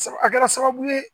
A kɛra sababu ye